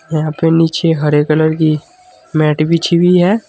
यहां पे नीचे हरे कलर की मैट बिछी हुई है।